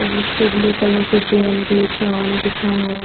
उस पे blue colour से चाँद लिखा है।